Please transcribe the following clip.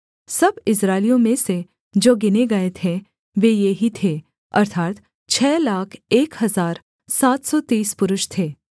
सब इस्राएलियों में से जो गिने गए थे वे ये ही थे अर्थात् छः लाख एक हजार सात सौ तीस पुरुष थे